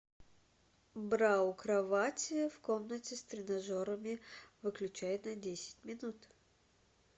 бра у кровати в комнате с тренажерами выключай на десять минут